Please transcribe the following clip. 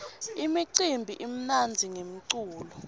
imicimbi imnandzi ngemculo